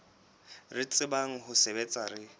re tsebang ho sebetsa re